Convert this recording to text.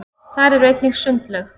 þar er einnig sundlaug